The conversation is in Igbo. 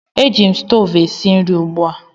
Eji m stoovu esi nri ugbu a